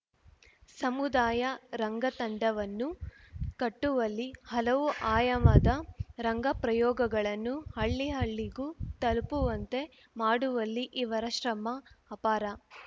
ಸಮುದಾಯ ರಂಗತಂಡವನ್ನು ಕಟ್ಟುವಲ್ಲಿ ಹಲವು ಆಯಾಮದ ರಂಗಪ್ರಯೋಗಗಳನ್ನು ಹಳ್ಳಿ ಹಳ್ಳಿಗೂ ತಲುಪುವಂತೆ ಮಾಡುವಲ್ಲಿ ಇವರ ಶ್ರಮ ಅಪಾರ